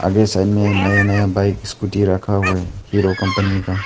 ये साइड में नया नया बाइक स्कूटी रखा हुआ है हीरो कंपनी का।